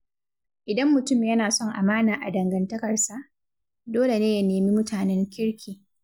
Idan mutum yana son amana a dangantakarsa, dole ne ya nemi mutanen kirki.